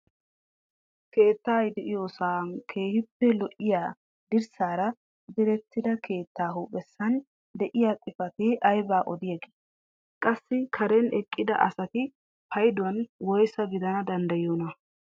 Keettay de'iyoosay keehippe lo"iyoo dirssaara direttida keettaa huuphphesan de'iyaa xifatee aybaa odiyaagee? qassi karen eqqida asati payduwaan woysa gidana danddayiyoonaa?